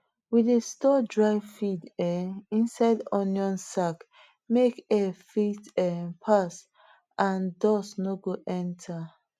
we dey store dry feed um inside onion sack make air fit um pass and and dust no go enter